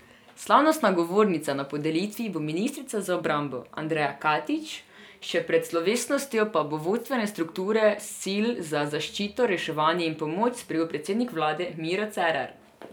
Slavnostna govornica na podelitvi bo ministrica za obrambo Andreja Katič, še pred slovesnostjo pa bo vodstvene strukture sil za zaščito, reševanje in pomoč sprejel predsednik vlade Miro Cerar.